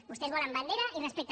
vostès volen bandera i respecte